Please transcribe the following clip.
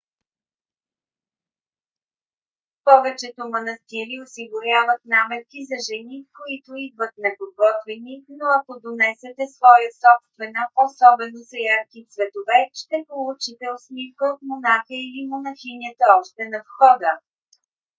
повечето манастири осигуряват наметки за жени които идват неподготвени но ако донесете своя собствена особено с ярки цветове ще получите усмивка от монаха или монахинята още на входа